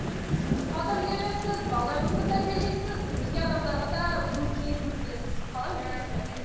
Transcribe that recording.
жұмысқа да үлгересіз тәрбиелейсіз өзге адамдарға да өзіңіз кеңесіңізді бересіз иә мен қалай үлгересіз бәріне